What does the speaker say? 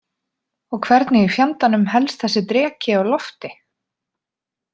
Og hvernig í fjandanum helst þessi dreki á lofti?